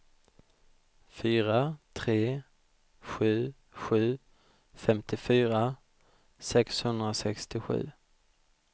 fyra tre sju sju femtiofyra sexhundrasextiosju